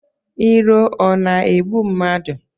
Iro ọ na-egbu mmadụ?